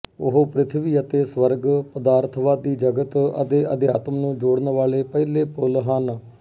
ਉਹ ਪ੍ਰਿਥਵੀ ਅਤੇ ਸਵਰਗ ਪਦਾਰਥਵਾਦੀ ਜਗਤ ਅਤੇ ਅਧਿਆਤਮ ਨੂੰ ਜੋੜਨ ਵਾਲੇ ਪਹਿਲੇ ਪੁਲ ਹਨ